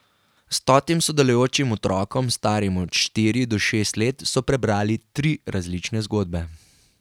Stotim sodelujočim otrokom, starim od štiri do šest let so prebrali tri različne zgodbe.